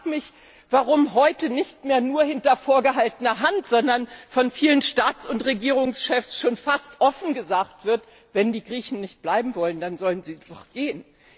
Ich frage mich, warum heute nicht mehr nur hinter vorgehaltener Hand, sondern von vielen Staats und Regierungschefs schon fast offen gesagt wird Wenn die Griechen nicht bleiben wollen, dann sollen sie doch gehen.